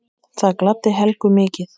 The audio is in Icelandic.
Það gladdi Helgu mikið.